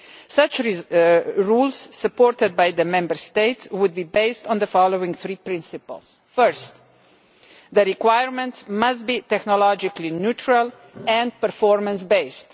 Such rules, supported by the Member States, would be based on the following three principles First, the requirements must be technologically neutral and performance based.